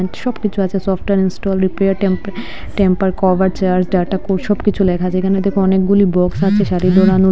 সবকিছু আছে software install repair টেম্প-টেম্পার কভার চার্জ ডাটা সব কিছু লেখা আছে এখানে দেখ অনেকগুলি বক্স আছে --